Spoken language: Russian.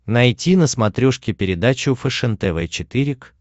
найти на смотрешке передачу фэшен тв четыре к